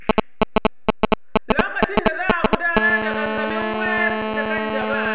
Lokacin da za a gudanar da gangamin wayar da kan jama'a.